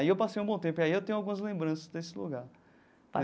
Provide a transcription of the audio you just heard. Aí eu passei um bom tempo, aí eu tenho algumas lembranças desse lugar.